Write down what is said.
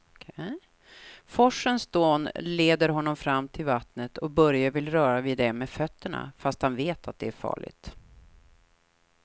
Forsens dån leder honom fram till vattnet och Börje vill röra vid det med fötterna, fast han vet att det är farligt.